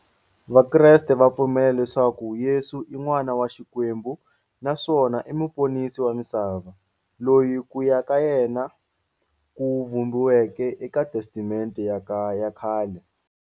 Vakreste va pfumela leswaku Yesu i n'wana wa Xikwembu naswona i muponisi wa misava, loyi ku ya ka yena ku vhumbiweke eka Testamente ya khale.